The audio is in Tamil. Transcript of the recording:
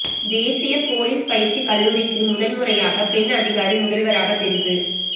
தேசிய போலீஸ் பயிற்சி கல்லூரிக்கு முதன் முறையாக பெண் அதிகாரி முதல்வராக தெரிவு